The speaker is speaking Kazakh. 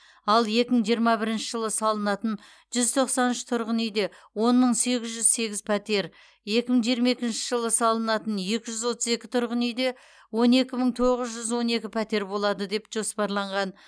ал екі мың жиырма бірінші жылы салынатын жүз тоқсан үш тұрғын үйде он мың сегіз жүз сегіз пәтер екі мың жиырма екінші жылы салынатын екі жүз отыз екі тұрғын үйде он екі мың тоғыз жүз он екі пәтер болады деп жоспарланған